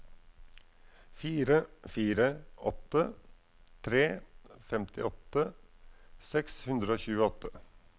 fire fire åtte tre femtiåtte seks hundre og tjueåtte